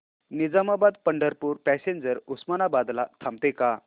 Nizamabad Pandharpur passenger Osmanabad ला थांबते का